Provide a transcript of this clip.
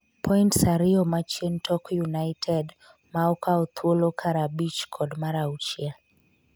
points ariyo machien tok United ma okawo thuolo kar abich kod mar auchiel